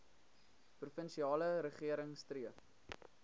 provinsiale regering streef